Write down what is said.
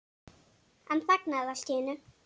Hann þagnaði allt í einu.